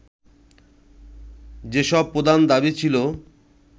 যেসব প্রধান দাবি ছিল